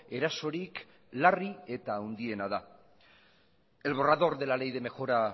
erasorik larri eta handiena da el borrador de la ley de mejora